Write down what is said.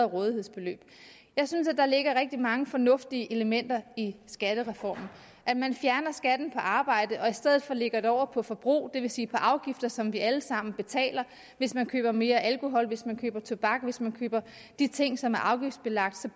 rådighedsbeløb jeg synes at der ligger rigtig mange fornuftige elementer i skattereformen at man fjerner skatten på arbejde og i stedet for lægger den over på forbrug det vil sige i af afgifter som vi alle sammen betaler hvis man køber mere alkohol hvis man køber tobak hvis man køber de ting som er afgiftsbelagt så